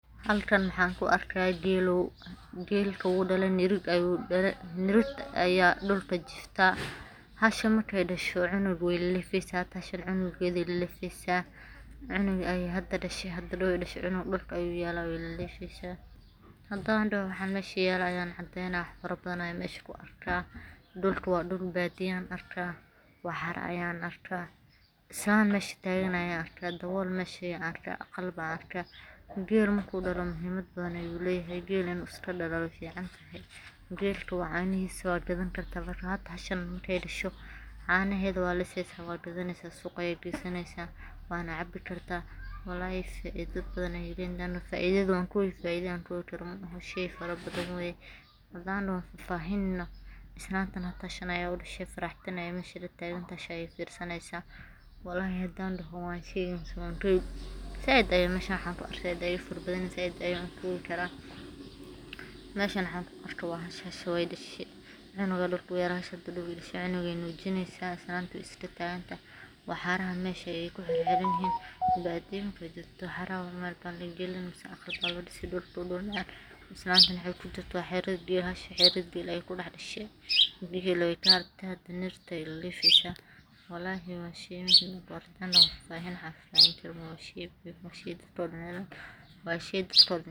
Halkan maxan ku arka geelow geelka wuu dhale nirig ayu dhale nirigta aya dhulka jifta hasha markay dhasho cunuga way lefaysa hashan cunugeeday leefaysa cunug ayay hada dhashe hada dhaw dashe cunuga dhulka ayu yaala way lelefaysa. Hadan daho waxa mesha yaala ayan cadaynaya wax fara badan ayan mesha ku arka dhukka waa dhul baadiyan arka waxar ayan arka, islan mesha tagan ayan arka, dabool mesha yaala ayan arka, aqal ban arka. Geela marku dhala muhiimad badan ayu leeyahay geela inu iska dhala way fiicantahay geelka caanahiisa waad gadan karta hasha markay dhasho caanaheeda waaa lisaysa waa gadanaysa suuqa aya gaysanaysa waana cabi karta walahi faaida badan ayay leeyihin faidada waa faida aan koobi karin shay fara badan waye. Hadan daha waan fahfahinina islantan natashan aya mesha faraxsan aya mesha latagan hasha ayay firsanaysa walahi hadan daho waan shegi mise waan koobi zaiid aya meshan waxan ku arka zaid aya fara badantahay zaid ayana u koobi kara. Meshan waxan ku arka waa xasus hooya dhashe cunuga dhulka u yaala cunugay nuujinaysa islanta way iska taaganta waxaraha mesha ayay ku xixiranyihin baadiya marka jogta waxara mel baa lagalini si ay u dhux miyan islanta mesha kujirta xerada biyaha hasha xerada biyaha ayay ku dax dhashe bihilowga dhimirta ayay lelefaysa. Walahi waa shay muuhiim u ah waa shay caafimad u ah waa shay dadko dan.